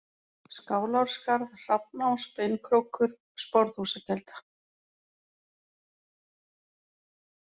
Skálárskarð, Hrafnás, Beinkrókur, Sporðhúsakelda